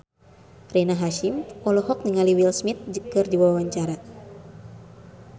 Rina Hasyim olohok ningali Will Smith keur diwawancara